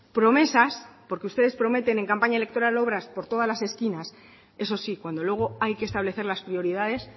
promesas porque ustedes prometen en campaña electoral obras por todas las esquinas eso sí cuando luego hay que establecer las prioridades